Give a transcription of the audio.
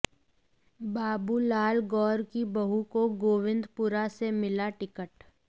बाबूलाल गौर की बहू को गोविंदपुरा से मिला टिकट